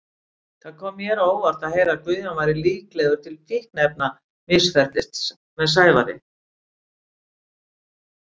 Það kom mér á óvart að heyra að Guðjón væri líklegur til fíkniefnamisferlis með Sævari.